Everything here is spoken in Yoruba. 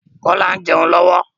Kola ń jẹun lọ́wọ́